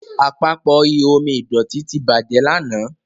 Àpapọ̀ ihò omi ìdọ̀tító tí bàjé lànà.